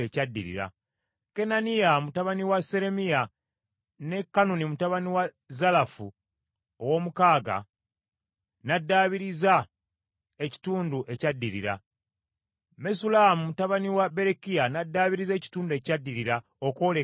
Kananiya mutabani wa Seremiya ne Kanuni mutabani wa Zalafu ow’omukaaga n’addaabiriza ekitundu ekyaddirira. Mesullamu mutabani wa Berekiya n’addaabiriza ekitundu ekyaddirira okwolekera amaka ge.